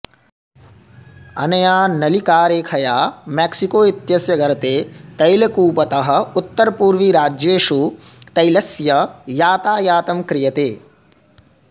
अनया नलिकारेखया मैक्सिको इत्यस्य गर्ते तैलकूपतः उत्तरपूर्विराज्येषु तैलस्य यातायातं क्रियते